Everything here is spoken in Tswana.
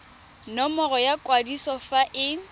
nomoro ya kwadiso fa e